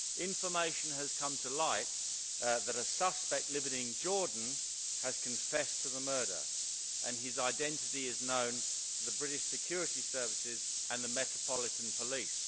Information has come to light that a suspect living in Jordan has confessed to the murder and his identity is known to the British security services and to the Metropolitan Police.